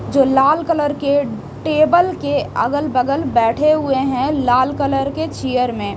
जो लाल कलर के टेबल के अगल बगल बैठे हुए हैं लाल कलर के चिअर में--